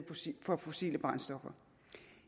for på fossile brændstoffer